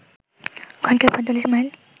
ঘন্টায় ৪৫ মাইল